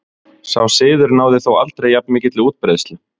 Sá siður náði þó aldrei jafn mikilli útbreiðslu.